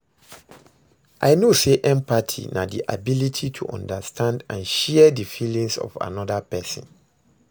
I know say empathy na di ability to understand and share di feelings of anoda pesin.